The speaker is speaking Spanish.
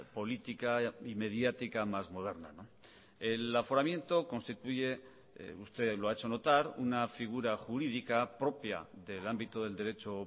política y mediática más moderna el aforamiento constituye usted lo ha hecho notar una figura jurídica propia del ámbito del derecho